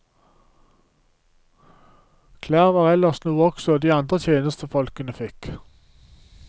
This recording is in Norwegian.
Klær var ellers noe også de andre tjenestefolkene fikk.